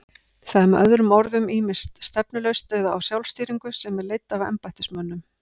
Það er með öðrum orðum ýmist stefnulaust eða á sjálfstýringu sem er leidd af embættismönnum.